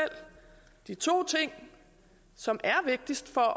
de to ting som er vigtigst for at